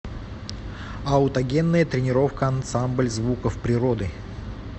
аутогенная тренировка ансамбль звуков природы